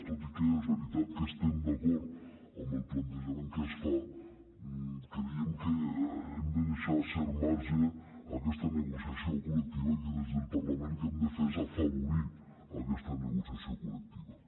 tot i que és veritat que estem d’acord amb el plantejament que es fa creiem que hem de deixar cert marge a aquesta negociació col·lectiva i que des del parlament el que hem de fer és afavorir aquesta negociació col·lectiva